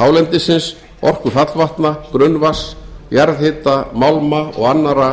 hálendisins orku fallvatna grunnvatns jarðhita málma og annarra